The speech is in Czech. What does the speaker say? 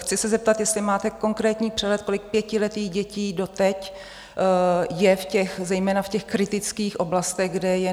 Chci se zeptat, jestli máte konkrétní přehled, kolik pětiletých dětí doteď je zejména v těch kritických oblastech, kde je